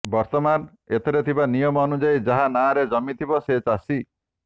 ବର୍ତ୍ତମାନ ଏଥିରେ ଥିବା ନିୟମ ଅନୁଯାୟୀ ଯାହା ନାଁରେ ଜମି ଥିବ ସେ ଚାଷୀ